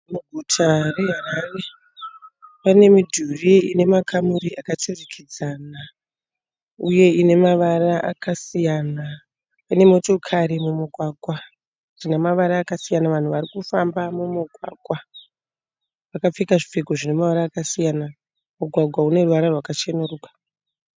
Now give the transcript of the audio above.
Muguta reHarare pane midhuri inemakamuri yakaturikidzana uye ine mavara akasiyana. Mune motokari mumugwagwa dzinemavara akasiyana. vanhu varikufamba mumugwagwa vakapfeka zvipfeko zvinemavara akasiyana. Mugwagwa uneruvara rwakachenuruka.